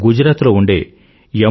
గుజరాత్ లో ఉండే ఎమ్